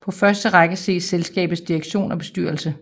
På første række ses selskabets direktion og bestyrelse